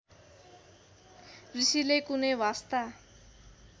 ऋषिले कुनै वास्ता